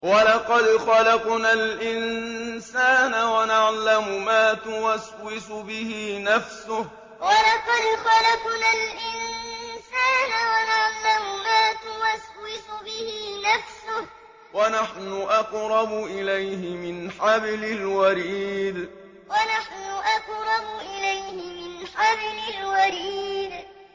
وَلَقَدْ خَلَقْنَا الْإِنسَانَ وَنَعْلَمُ مَا تُوَسْوِسُ بِهِ نَفْسُهُ ۖ وَنَحْنُ أَقْرَبُ إِلَيْهِ مِنْ حَبْلِ الْوَرِيدِ وَلَقَدْ خَلَقْنَا الْإِنسَانَ وَنَعْلَمُ مَا تُوَسْوِسُ بِهِ نَفْسُهُ ۖ وَنَحْنُ أَقْرَبُ إِلَيْهِ مِنْ حَبْلِ الْوَرِيدِ